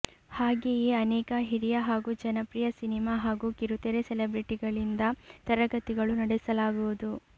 ಹಾಗೆಯೇ ಅನೇಕ ಹಿರಿಯ ಹಾಗೂ ಜನಪ್ರಿಯ ಸಿನಿಮಾ ಹಾಗೂ ಕಿರುತೆರೆ ಸೆಲಿಬ್ರಿಟಿಗಳಿಂದ ತರಗತಿಗಳು ನಡೆಸಲಾಗುವುದು